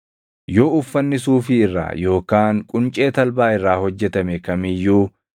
“Yoo uffanni suufii irraa yookaan quncee talbaa irraa hojjetame kam iyyuu,